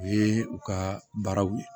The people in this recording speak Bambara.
U ye u ka baaraw